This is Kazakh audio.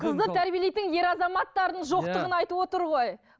қызды тәрбиелейтін ер азаматтардың жоқтығын айтып отыр ғой